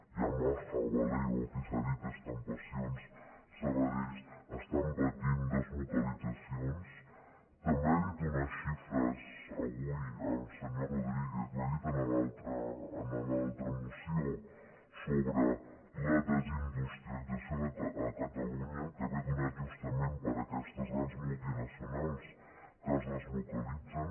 yamaha valeo aquí s’ha dit estampacions sabadell estan patint deslocalitzacions també ha dit unes xifres avui el senyor rodríguez ho ha dit en l’altra moció sobre la desindustrialització a catalunya que ve donada justament per aquestes grans multinacionals que es deslocalitzen